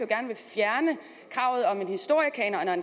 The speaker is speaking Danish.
gerne vil fjerne kravet om en historiekanon